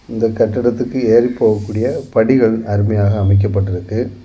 இந்தக் கட்டிடத்துக்கு ஏறி போகக்கூடிய படிகள் அருமையாக அமைக்கப்பட்டு இருக்கு.